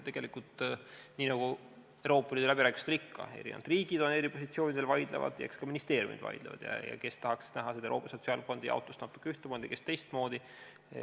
Tegelikult, nii nagu Euroopa Liidu läbirääkimistel ikka, on erinevad riigid on eri positsioonidel ja vaidlevad, eks ka ministeeriumid vaidlevad – kes tahaks näha seda Euroopa Sotsiaalfondi jaotust natuke ühtemoodi, kes teistmoodi.